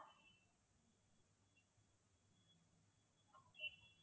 yes